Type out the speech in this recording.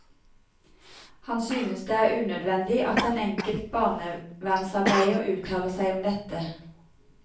Han synes det er unødvendig at en enkelt barnevernsarbeider uttaler seg om dette.